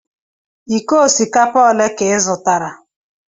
Iko osikapa ole ka ị zụtara?